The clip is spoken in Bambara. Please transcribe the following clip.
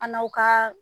An n'aw ka